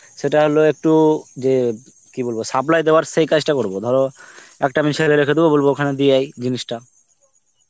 সেটা হলো একটু যে, কি বলবো supply দেওয়ার সেই কাজটা করব, ধরো একটা আমি ছেলে রেখে দেবো, বলবো ওখানে দিয়াই জিনিসটা.